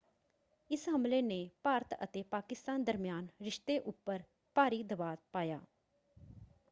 ਇਸ ਹਮਲੇ ਨੇ ਭਾਰਤ ਅਤੇ ਪਾਕਿਸਤਾਨ ਦਰਮਿਆਨ ਰਿਸ਼ਤੇ ਉੱਪਰ ਭਾਰੀ ਦਬਾਅ ਪਾਇਆ।